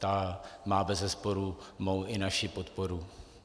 Ta má bezesporu mou i naši podporu.